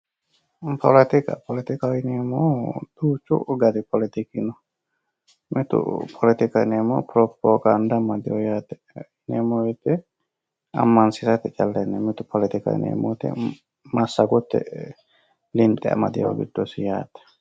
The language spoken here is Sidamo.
Poletikka, poletikkaho yineemmohu duuchu gari poletikki no, mitu poletikkaho yineemmohu piropogada amadeho yaate, poletikkaho yineemmo woyte amansiisate poletikaho yineemmo wpyte massagote linxe amadinoho giddosi yaate.